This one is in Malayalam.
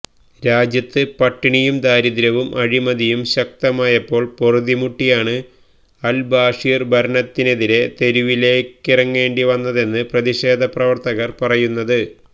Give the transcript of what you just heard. രാജ്യത്ത് പട്ടിണിയും ദാരിദ്ര്യവും അഴിമതിയും ശക്തമായപ്പോൾ പൊറുതിമുട്ടിയാണ് അൽ ബാഷിർ ഭരണത്തിനെതിരെ തെരുവിലിറങ്ങേണ്ടി വന്നതെന്നാണ് പ്രതിഷേധപ്രവർത്തകർ പറയുന്നത്